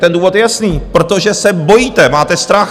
Ten důvod je jasný - protože se bojíte, máte strach.